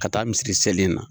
Ka taa misiri seli in na